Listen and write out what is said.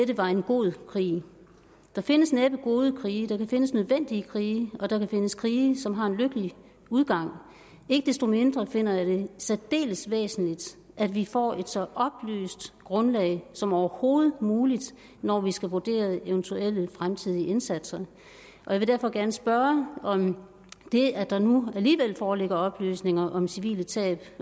det var en god krig der findes næppe gode krige der kan findes nødvendige krige og der kan findes krige som har en lykkelig udgang ikke desto mindre finder jeg det særdeles væsentligt at vi får et så oplyst grundlag som overhovedet muligt når vi skal vurdere eventuelle fremtidige indsatser jeg vil derfor gerne spørge om det at der nu alligevel foreligger oplysninger om civile tab